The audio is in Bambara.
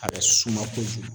A bɛ suma kojugu.